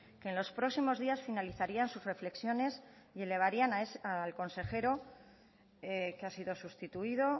que en los próximos días finalizarían sus reflexiones y elevarían al consejero que ha sido sustituido